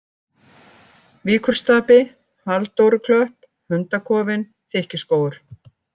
Víkurstapi, Halldóruklöpp, Hundakofinn, Þykkiskógur